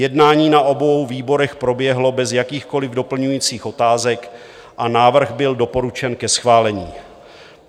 Jednání na obou výborech proběhlo bez jakýchkoliv doplňujících otázek a návrh byl doporučen ke schválení.